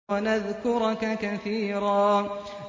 وَنَذْكُرَكَ كَثِيرًا